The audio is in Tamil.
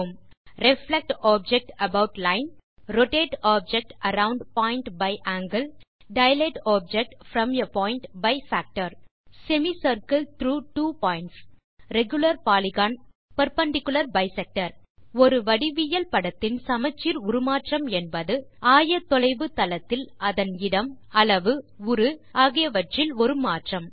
reflect object about line rotate object around point by angle dilate object from a point by factor semi circle through two points regular polygon மற்றும் பெர்பெண்டிக்குலர் பைசெக்டர் ஒரு வடிவியல் படத்தின் சமச்சீர் உருமாற்றம் என்பது ஆயத்தொலைவு தளத்தில் அதன் இடம் அளவு உரு ஆகியவற்றில் ஒரு மாற்றம்